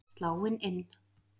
Sláin inn,